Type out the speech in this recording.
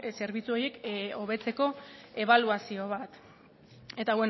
zerbitzu horiek hobetzeko ebaluazio bat eta